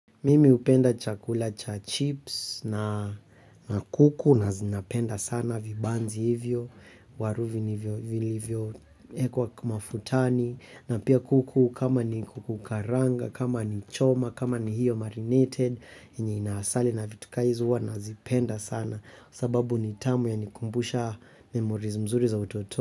Mimi hupenda chakula cha chips na na kuku na zinapenda sana vibanzi hivyo. Waruvi nivyo vilivyo ekwa kumafutani. Na pia kuku kama ni kuku karanga, kama ni choma, kama ni hiyo marinated yenye inaasali na vitukai zo huwa na zipenda sana sababu ni tamu ya nikumbusha memoriz mzuri za utoto.